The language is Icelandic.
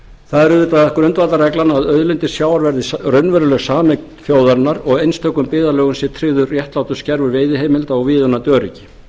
það er auðvitað grundvallarregla að auðlindir sjávar verði raunveruleg sameign þjóðarinnar og einstökum byggðarlögum sé tryggður réttlátur skerfur veiðiheimilda og viðunandi öryggi